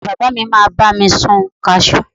ìyá bàbá mi ma ba mi sun cashew